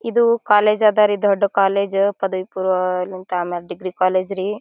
ಇದು ಕಾಲೇಜ್ ಅದರಿ ದೊಡ್ಡ ಕಾಲೇಜ್ ಪದವಿ ಪೂರ್ವ ಡಿಗ್ರಿ ಕಾಲೇಜ್ ರೀ.